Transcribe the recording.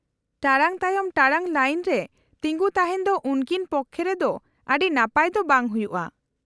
-ᱴᱟᱲᱟᱝ ᱛᱟᱭᱚᱢ ᱴᱟᱲᱟᱝ ᱞᱟᱭᱤᱱ ᱨᱮ ᱛᱤᱸᱜᱩ ᱛᱟᱦᱮᱱ ᱫᱚ ᱩᱱᱠᱤᱱ ᱯᱚᱠᱠᱷᱮ ᱨᱮᱫᱚ ᱟᱹᱰᱤ ᱱᱟᱯᱟᱭ ᱫᱚ ᱵᱟᱝ ᱦᱩᱭᱩᱜᱼᱟ ᱾